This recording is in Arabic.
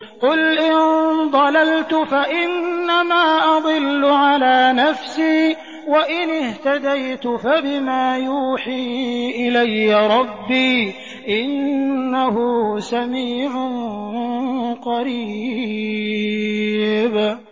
قُلْ إِن ضَلَلْتُ فَإِنَّمَا أَضِلُّ عَلَىٰ نَفْسِي ۖ وَإِنِ اهْتَدَيْتُ فَبِمَا يُوحِي إِلَيَّ رَبِّي ۚ إِنَّهُ سَمِيعٌ قَرِيبٌ